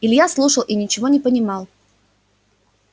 илья слушал и ничего не понимал